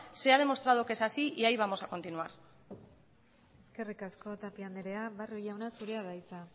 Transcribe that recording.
se ha demostrado que es así y ahí vamos a continuar eskerrik asko tapia anderea barrio jauna zurea da hitza